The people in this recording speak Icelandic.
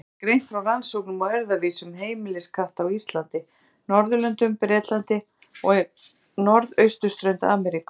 Þar er greint frá rannsóknum á erfðavísum heimiliskatta á Íslandi, Norðurlöndum, Bretlandi og norðausturströnd Ameríku.